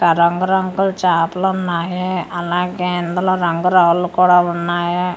ఆ రంగు రంగు చాపలు ఉన్నాయి అలాగే ఇందులో రంగు రాళ్ళు కూడా ఉన్నాయి ఇ--